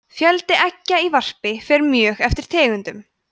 fjöldi eggja í varpi fer mjög eftir tegundum